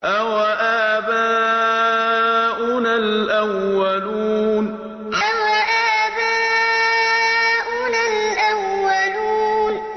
أَوَآبَاؤُنَا الْأَوَّلُونَ أَوَآبَاؤُنَا الْأَوَّلُونَ